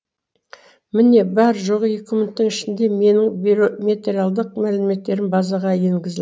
міне бар жоғы екі минуттың ішінде менің биометриялық мәліметтерім базаға енгізілді